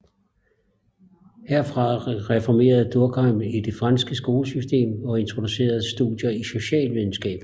Herfra reformerede Durkheim det franske skolesystem og introducerede studier i socialvidenskab